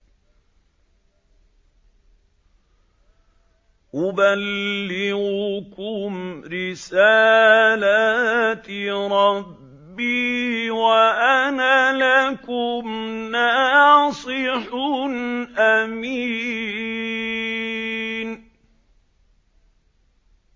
أُبَلِّغُكُمْ رِسَالَاتِ رَبِّي وَأَنَا لَكُمْ نَاصِحٌ أَمِينٌ